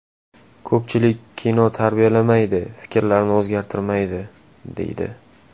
Ko‘pchilik kino tarbiyalamaydi, fikrlarni o‘zgartirmaydi, deydi.